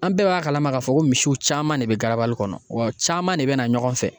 An bɛɛ b'a kalama k'a fɔ ko misiw caman de bɛ garabali kɔnɔ wa caman de bɛ na ɲɔgɔn fɛ.